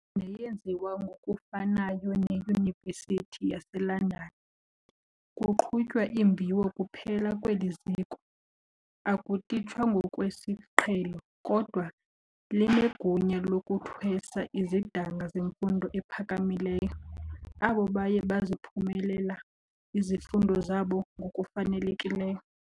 neyenziwa ngokufanayo neYunivesithi yaseLondon, kuqhutywa imviwo kuphela kweli ziko, akutitshwa ngokwesiqhelo, kodwa linegunya lokuthwesa izidanga zemfundo ephakamileyo, abo baye baziphumelela izifundo zabo ngokufanelekileyo.